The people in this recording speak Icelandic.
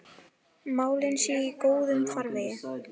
Málin séu í góðum farvegi.